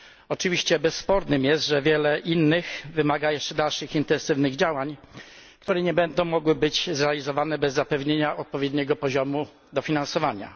Oczywiście bezsporne jest, że wiele innych wymaga jeszcze dalszych intensywnych działań, które nie będą mogły być zrealizowane bez zapewnienia odpowiedniego poziomu dofinansowania.